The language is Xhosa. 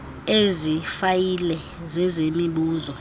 ezi fayile zezemibuzo